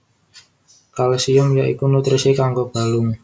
Kalsium ya iku nutrisi kanggo balung